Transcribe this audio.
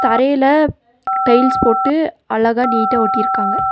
தரையில டைல்ஸ் போட்டு அழகா நீட்ட ஒட்டிருக்காங்க.